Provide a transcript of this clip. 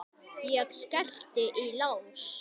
Ég skellti í lás.